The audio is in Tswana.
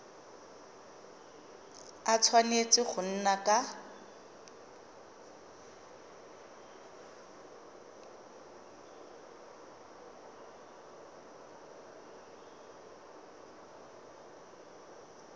a tshwanetse go nna ka